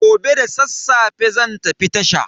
Gobe da sassafe zan tafi tasha.